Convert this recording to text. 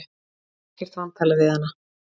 Á ekkert vantalað við hana.